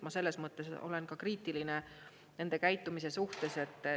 Ma selles mõttes olen kriitiline nende käitumise suhtes.